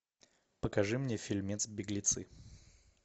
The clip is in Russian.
покажи мне фильмец беглецы